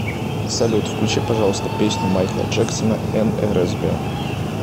салют включи пожалуйста песню майкла джексона нрзб